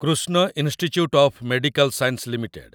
Krishna institute of medical science limited